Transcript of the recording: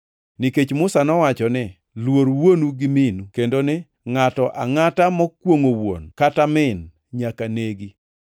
Nikech Musa nowacho ni, ‘Luor wuonu gi minu;’ + 7:10 \+xt Wuo 20:12; Rap 5:16\+xt* kendo ni, ‘Ngʼato angʼata mokwongʼo wuon kata min nyaka negi.’ + 7:10 \+xt Wuo 21:17; Lawi 20:9\+xt*